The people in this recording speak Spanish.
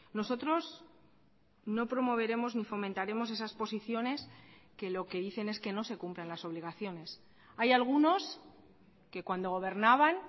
nosotros no promoveremos ni fomentaremos esas posiciones que lo que dicen es que no se cumplan las obligaciones hay algunos que cuando gobernaban